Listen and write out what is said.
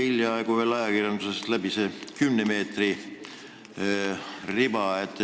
Hiljaaegu jooksis ajakirjandusest läbi see 10-meetrine riba.